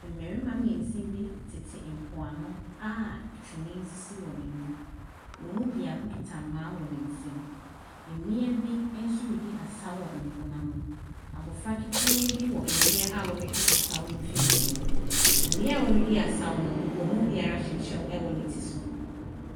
Mmarima mmiɛnsa bi tete mpoano a twene sisi wɔn anim, wɔn mu biako kita mmaa wɔ ne nsa mu. Mmea bi nso redi asaw wɔ po n’ano. Abɔfra ketewa bi wɔ mmea wɔredi asaw no mfimfin. Mmea a wɔredi asaw no, wɔn mu biara hyɛ kyɛw wɔ ne ti so.